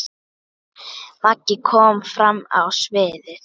Maggi kom fram á sviðið.